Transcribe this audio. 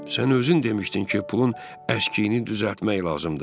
Sən özün demişdin ki, pulun əskiyini düzəltmək lazımdır.